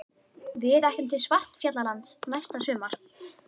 Við ætlum til Svartfjallalands næsta sumar.